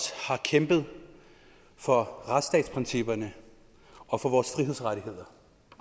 har kæmpet for retsstatsprincipperne og for vores frihedsrettigheder